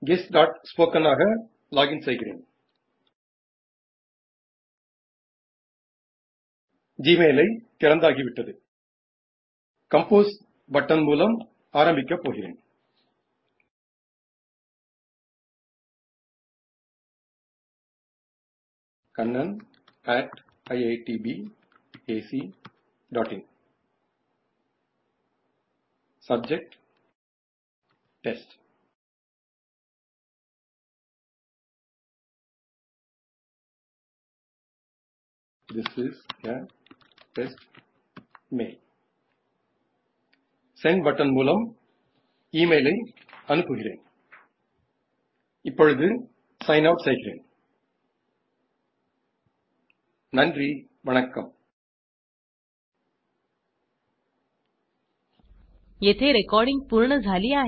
guestस्पोकन आगा लॉजिन सेयगिरेन जीमेल एआय थिरंदगी वित्ताडू कंपोज बटन मूलम आरंबिकप पोगिरेन 1 Subject160Test इंगू वारुवोम this is a test mail send button मूलम इमेल एआय अनुप्पुगिरेन इप्पोडू साइन आउट सेयगिरेन नानरी वनक्कम येथे रेकॉर्डिंग पूर्ण झाली आहे